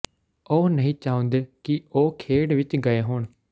ਉਹ ਨਹੀਂ ਚਾਹੁੰਦੇ ਕਿ ਉਹ ਖੇਡ ਵਿਚ ਗਏ ਹੋਣ